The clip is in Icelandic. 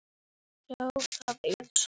Dísa gamla er látin.